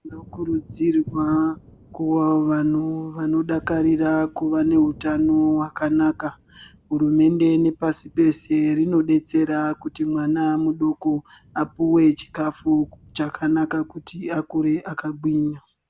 Tinokudzirwa kuva vanhu vanodakarira kuva nehutano hwakanaka. Hurumende nepasi peshe rinodetsera kuti mwana mudoko apuwe chikafu chakanaka kuti akure akagwinya.